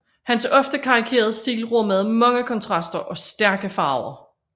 Hans ofte karikerede stil rummede mange kontraster og stærke farver